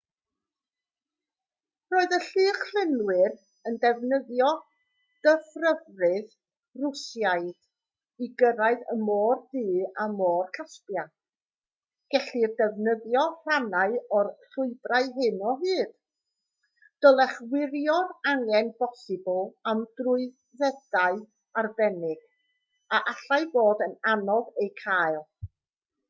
roedd y llychlynwyr yn defnyddio dyfrffyrdd rwsiaidd i gyrraedd y môr du a môr caspia gellir defnyddio rhannau o'r llwybrau hyn o hyd dylech wirio'r angen posibl am drwyddedau arbennig a allai fod yn anodd eu cael